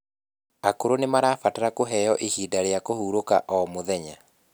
Akũrũ nimarabatara kũheo ihinda rĩa kũhũrũka o mũthenya